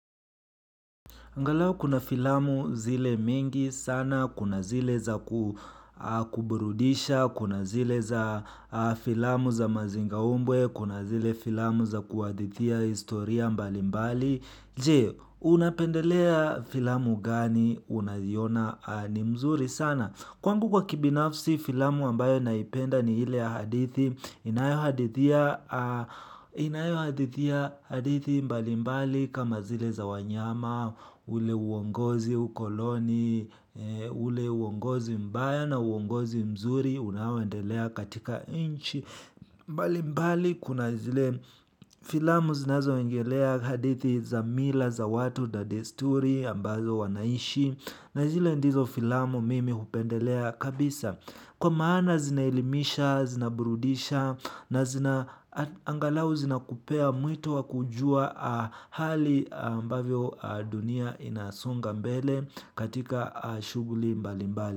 Angalau kuna filamu zile mingi sana, kuna zile za kuburudisha, kuna zile za filamu za mazingaumbwe, kuna zile filamu za kuhadithia historia mbali mbali. Je, unapendelea filamu gani unaziona ni mzuri sana. Kwangu kwa kibinafsi filamu ambayo naipenda ni ile hadithi inayo hadithia hadithi mbali mbali kama zile za wanyama, ule uongozi ukoloni, ule uongozi mbaya na uongozi mzuri unaoendelea katika inchi. Mbali mbali kuna zile filamu zinazo engelea hadithi za mila za watu da desturi ambazo wanaishi na zile ndizo filamu mimi upendelea kabisa kwa maana zinaelimisha, zinaburudisha na zina angalau zinakupea mwito wakujua hali ambavyo dunia inasonga mbele katika shughuli mbali mbali.